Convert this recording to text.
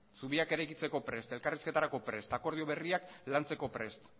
zubiak eraikitzeko prest elkarrizketarako prest akordio berriak lantzeko prest